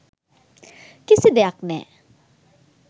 කිසි දෙයක් නෑ.